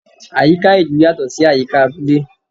Àyíká ìlú yatọ sí àyíká abúlé